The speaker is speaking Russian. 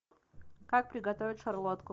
как приготовить шарлотку